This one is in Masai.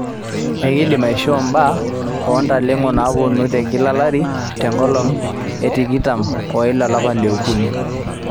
ekidim aishoo mbaa oo ntalengo napuonu te kila olari te nkolong etikitam oile olapa li okunii